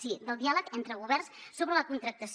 sí del diàleg entre governs sobre la contractació